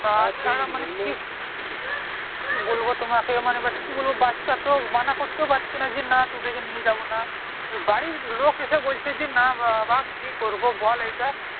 কি বলবো তোমাকে এই মানে but বাচ্চা তো মানা ও করতে পারছি না যে না তোদেরকে নিয়ে যাবো না বাড়ির লোক এসে বলছে যে না বাপ্ কি করবো বল এইদিক